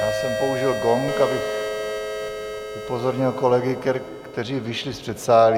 Já jsem použil gong, abych upozornil kolegy, kteří jsou v předsálí.